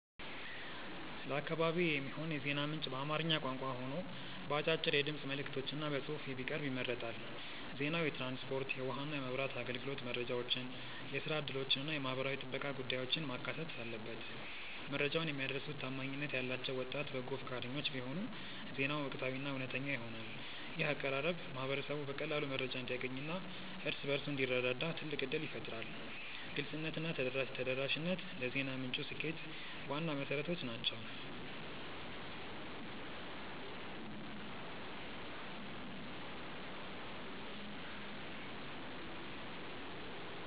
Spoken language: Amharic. ለአካባቢዬ የሚሆን የዜና ምንጭ በአማርኛ ቋንቋ ሆኖ በአጫጭር የድምፅ መልዕክቶችና በጽሑፍ ቢቀርብ ይመረጣል። ዜናው የትራንስፖርት፣ የውኃና መብራት አገልግሎት መረጃዎችን፣ የሥራ ዕድሎችንና የማኅበራዊ ጥበቃ ጉዳዮችን ማካተት አለበት። መረጃውን የሚያደርሱት ታማኝነት ያላቸው ወጣት በጎ ፈቃደኞች ቢሆኑ ዜናው ወቅታዊና እውነተኛ ይሆናል። ይህ አቀራረብ ማኅበረሰቡ በቀላሉ መረጃ እንዲያገኝና እርስ በርሱ እንዲረዳዳ ትልቅ ዕድል ይፈጥራል። ግልጽነትና ተደራሽነት ለዜና ምንጩ ስኬት ዋና መሠረቶች ናቸው።